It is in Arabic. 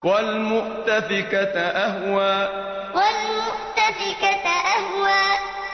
وَالْمُؤْتَفِكَةَ أَهْوَىٰ وَالْمُؤْتَفِكَةَ أَهْوَىٰ